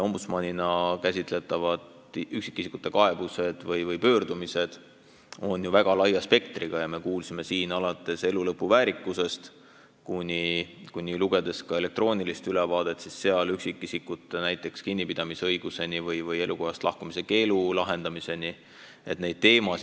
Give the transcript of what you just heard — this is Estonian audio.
Ombudsmanina käsitletavad üksikisikute kaebused ja muud pöördumised on ju väga laia spektriga: alates elulõpu väärikusest kuni näiteks üksikisikute kinnipidamise õiguseni või elukohast lahkumise keelu lahendamiseni, nagu võis lugeda elektroonilisest ülevaatest.